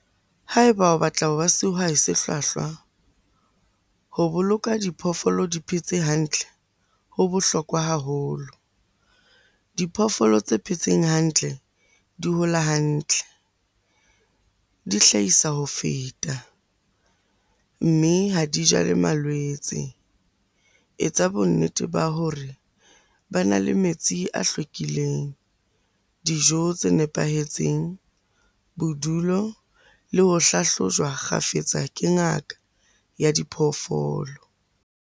Ha eba o batla ho ba sehwai se hlwahlwa, ho boloka diphoofolo di phetse hantle ho bohlokwa haholo. Diphoofolo tse phetseng hantle di hola hantle, di hlahisa ho feta mme ha dijale malwetse. Etsa bonnete ba hore bana le metsi a hlwekileng, dijo tse nepahetseng, bodulo le ho hlahlojwa kgafetsa ke ngaka ya diphoofolo.